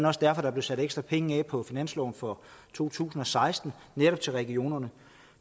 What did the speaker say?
også derfor der blev sat ekstra penge af på finansloven for to tusind og seksten netop til regionerne